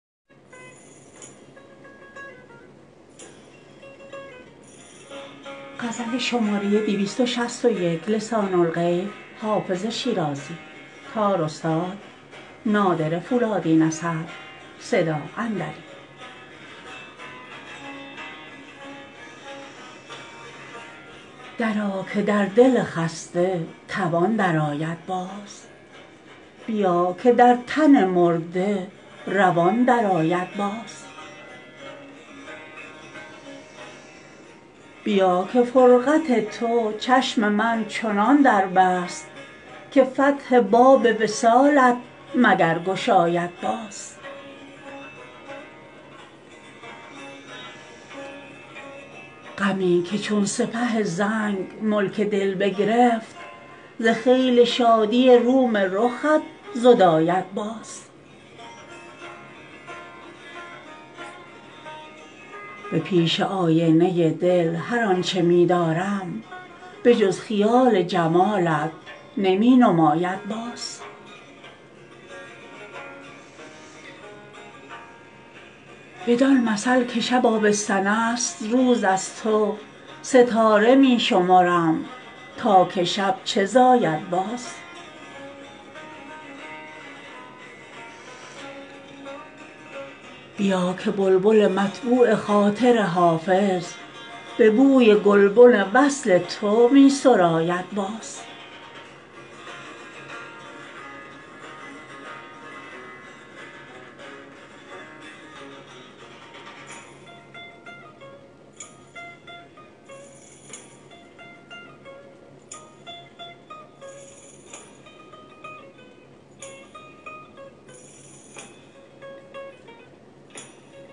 درآ که در دل خسته توان درآید باز بیا که در تن مرده روان درآید باز بیا که فرقت تو چشم من چنان در بست که فتح باب وصالت مگر گشاید باز غمی که چون سپه زنگ ملک دل بگرفت ز خیل شادی روم رخت زداید باز به پیش آینه دل هر آن چه می دارم به جز خیال جمالت نمی نماید باز بدان مثل که شب آبستن است روز از تو ستاره می شمرم تا که شب چه زاید باز بیا که بلبل مطبوع خاطر حافظ به بوی گلبن وصل تو می سراید باز